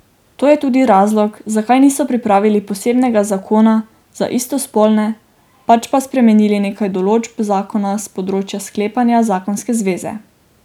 To je tudi razlog, zakaj niso pripravili posebnega zakona za istospolne, pač pa spremenili nekaj določb zakona s področja sklepanja zakonske zveze.